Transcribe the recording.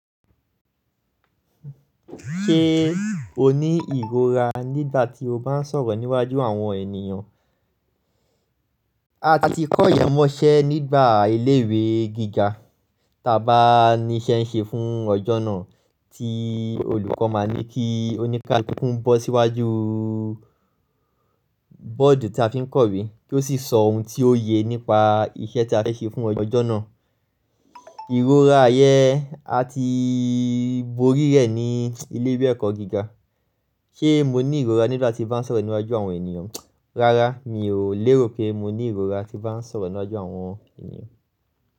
Ṣé o ní ìrora nígbà tí o bá ń sọ̀rọ̀ níwájú àwọn ènìyàn? A ti kọ̀ yẹ mọ́ṣẹ́ nígbà ilé ìwé gíga, ta bá ní iṣẹ́ ń ṣe fún ọjọ́ náà tí olùkọ́ máa ní kí oníkàlùkù ń bọ́ síwájú bọ́ọ̀dù tí a fi ń kọ̀wé kí ó sì sọ ohun tí ó yẹ nípa iṣẹ́ tí a fẹ́ ṣe fún ọjọ́ náà. Ìrora yẹn a ti borí rẹ̀ ní ilé ìwé ẹ̀kọ́ gíga. Ṣé mo ní ìrora nígbà tí bá ń sọ̀rọ̀ níwájú àwọn ènìyàn? Rárá mi ò lérò pé mo ní ìrora tí bá ń sọ̀rọ̀ níwájú àwọn ènìyàn.